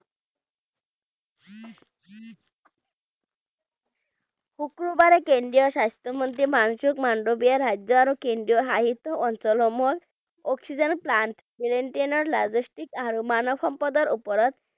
শুক্ৰবাৰে কেন্দ্ৰীয় স্বাস্থ্য মন্ত্ৰী মনসুখ মাণ্ডভিয়াই ৰাজ্য আৰু কেন্দ্ৰীয় শাসিত অঞ্চলসমূহত অক্সিজেন plant maintain ৰ logistic আৰু মানৱ সম্পদৰ ওপৰত